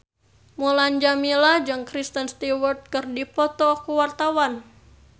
Mulan Jameela jeung Kristen Stewart keur dipoto ku wartawan